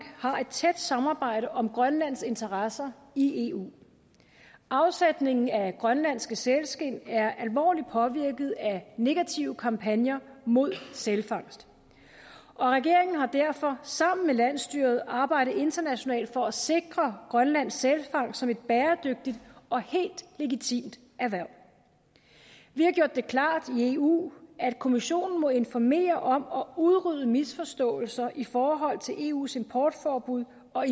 har et tæt samarbejde om grønlands interesser i eu afsætningen af grønlandske sælskind er alvorligt påvirket af negative kampagner mod sælfangst og regeringen har derfor sammen med landsstyret arbejdet internationalt for at sikre grønlands sælfangst som et bæredygtigt og helt legitimt erhverv vi har gjort det klart i eu at kommissionen må informere om og udrydde misforståelser i forhold til eus importforbud og